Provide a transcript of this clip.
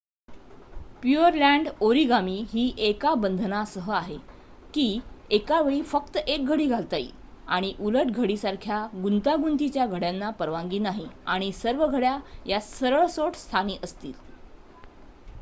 Pureland origami ही एका बंधनासह आहे की एका वेळी फक्त 1 घडी घालता येईल आणि उलट घडीसारख्या गुंतागुंतीच्या घड्याना परवानगी नाही आणि सर्व घड्या या सरळ सोट स्थानी असतील